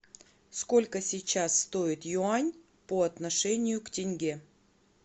сколько сейчас стоит юань по отношению к тенге